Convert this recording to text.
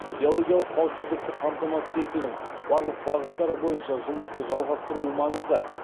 биологиялық қауіпсіздікті қамтамасыз етудің барлық бағыттары бойынша жұмысты жалғастыру маңызды